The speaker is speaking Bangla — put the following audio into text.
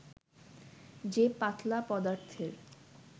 যে পাতলা পদার্থের